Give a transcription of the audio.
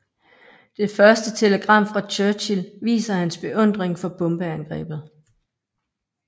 Det første telegram fra Churchill viser hans beundring for bombeangrebet